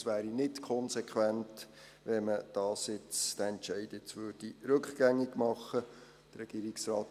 Es wäre nicht konsequent, wenn man diesen Entscheid jetzt rückgängig machen würde.